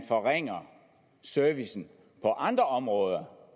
forringer servicen på andre områder